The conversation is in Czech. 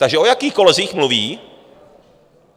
Takže o jakých kolezích mluví?